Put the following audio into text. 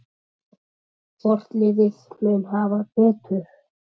Hvort liðið mun hafa betur?